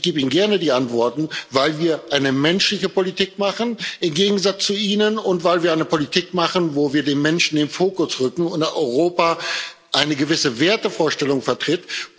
Ich gebe Ihnen gerne die Antworten weil wir eine menschliche Politik machen im Gegensatz zu Ihnen und weil wir eine Politik machen, wo wir den Menschen in den Fokus rücken und Europa eine gewisse Wertevorstellung vertritt.